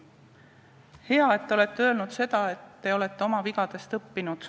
Hea, et te olete öelnud, et te olete oma vigadest õppinud.